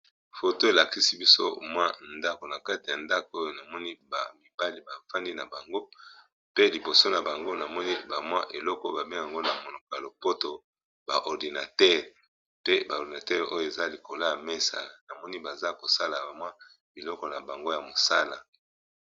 Foto elakisi biso mwa ndako na kati ya ndako oyo namoni ba mibali bafandi na bango pe liboso na bango namoni ba mwa eloko ba bengango na monoko ya lopoto ba ordinateur pe ba ordinateur oyo eza likolo ya mesa namoni baza kosala ba mwa biloko na bango ya mosala.